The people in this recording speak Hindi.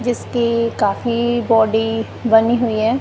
जिसकी काफी बॉडी बनी हुई है।